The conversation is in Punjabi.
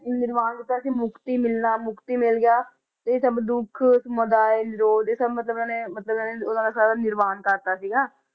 ਨਿਰਵਾਣ ਕੀਤਾ ਸੀ ਮੁਕਤੀ ਮਿਲਣਾ, ਮੁਕਤੀ ਮਿਲ ਗਿਆ, ਇਹ ਸਭ ਦੁੱਖ ਸਮੁਦਾਇ, ਨਿਰੋਧ ਇਹ ਸਭ ਮਤਲਬ ਇਹਨਾਂ ਨੇ ਮਤਲਬ ਇਹ ਉਹਨਾਂ ਦਾ ਸਾਰਾ ਨਿਰਵਾਣ ਕਰ ਦਿੱਤਾ ਸੀਗਾ।